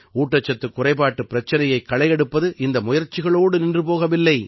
ஊட்டச்சத்துக் குறைபாட்டுப் பிரச்சினையைக் களையெடுப்பது இந்த முயற்சிகளோடு நின்று போகவில்லை